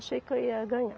Achei que eu ia ganhar.